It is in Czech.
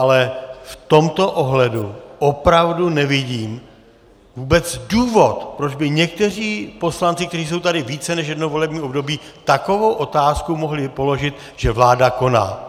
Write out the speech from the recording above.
Ale v tomto ohledu opravdu nevidím vůbec důvod, proč by někteří poslanci, kteří jsou tady více než jedno volební období, takovou otázku mohli položit, že vláda koná.